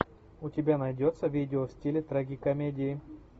у тебя найдется видео в стиле трагикомедии